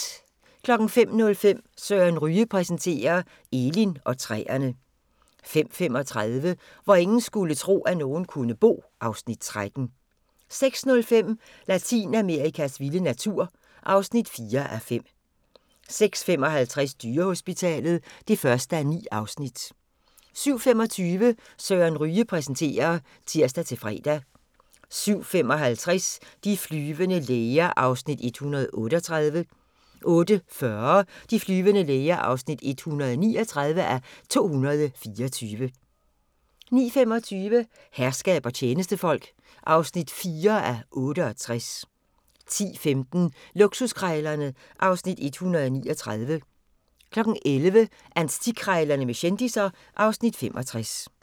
05:05: Søren Ryge præsenterer – Elin og træerne 05:35: Hvor ingen skulle tro, at nogen kunne bo (Afs. 13) 06:05: Latinamerikas vilde natur (4:5) 06:55: Dyrehospitalet (1:9) 07:25: Søren Ryge præsenterer (tir-fre) 07:55: De flyvende læger (138:224) 08:40: De flyvende læger (139:224) 09:25: Herskab og tjenestefolk (4:68) 10:15: Luksuskrejlerne (Afs. 139) 11:00: Antikkrejlerne med kendisser (Afs. 65)